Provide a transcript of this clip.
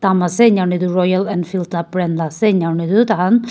jarte tu roya enfiend kar para brand ase jarte tu tar khan--